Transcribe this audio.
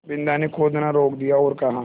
बिन्दा ने खोदना रोक दिया और कहा